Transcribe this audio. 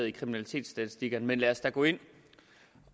i kriminalitetsstatistikkerne men lad os da gå ind